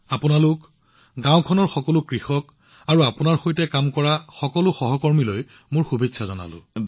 আপোনালোক আৰু গাওঁখনৰ সকলো কৃষক তথা আপোনাৰ সৈতে কাম কৰা সকলো সহকৰ্মীলৈ অশেষ শুভকামনা থাকিল ধন্যবাদ ভাই